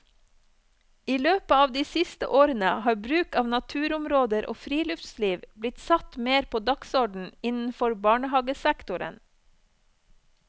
I løpet av de siste årene har bruk av naturområder og friluftsliv blitt satt mer på dagsorden innenfor barnehagesektoren.